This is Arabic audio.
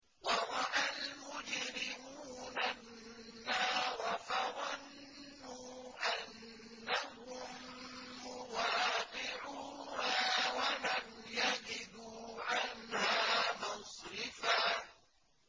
وَرَأَى الْمُجْرِمُونَ النَّارَ فَظَنُّوا أَنَّهُم مُّوَاقِعُوهَا وَلَمْ يَجِدُوا عَنْهَا مَصْرِفًا